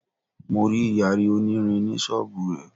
Mo rí Ìyàrí onírin ní ṣọ́bùù rẹ̀.